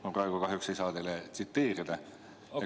Ma praegu kahjuks ei saa teid tsiteerida.